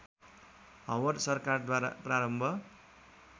Howard सरकारद्वारा प्रारम्भ